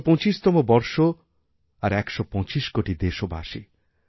১২৫তম বর্ষ আর ১২৫ কোটি দেশবাসী